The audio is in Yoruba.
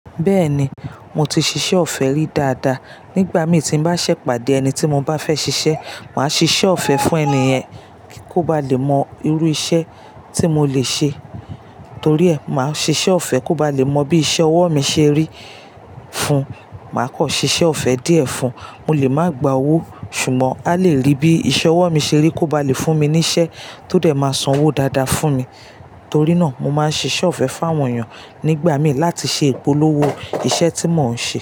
Bẹ́ẹ̀ni, mo ti ṣiṣẹ́ ọ̀fẹ́ rí dáadáa. Nígbà mí tí n bá ṣẹ̀ pàdé ẹni tí mo bá fẹ́ ṣiṣẹ́, màá ṣiṣẹ́ ọ̀fẹ́ fún ẹni yẹn kí ó ba lè mọ irú iṣẹ́ tí mo lè ṣe. Torí ẹ, màá ṣiṣẹ́ ọ̀fẹ́ kó ba lè mọ bí iṣẹ́ ọwọ́ mi ṣe rí fún un. Màá kọ́ ṣiṣẹ́ ọ̀fẹ́ díẹ̀ fún ùn, mo lè má gba owó ṣùgbọ́n a lè rí bí iṣẹ́ ọwọ́ mi ṣe rí kó ba lè fún mi ní iṣẹ́ tó dẹ̀ máa san owó dáadáa fún mi. Torí náà, mo máa ń ṣiṣẹ́ ọ̀fẹ́ fún àwọn èèyàn nígbà mí láti ṣe ìpolówó iṣẹ́ tí mò ń ṣe.